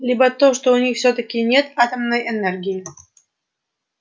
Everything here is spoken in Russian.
либо то что у них всё-таки нет атомной энергии